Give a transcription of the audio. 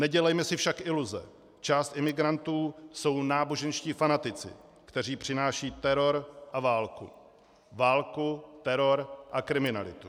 Nedělejme si však iluze, část imigrantů jsou náboženští fanatici, kteří přinášejí teror a válku, válku, teror a kriminalitu.